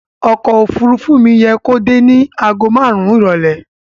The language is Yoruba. Ọkọ̀ òfuurufú mi yẹ kó dé ní àgó márùn-ún ìrọ̀lẹ́.